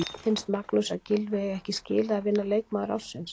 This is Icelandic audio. Finnst Magnúsi að Gylfi eigi ekki skilið að vinna leikmaður ársins?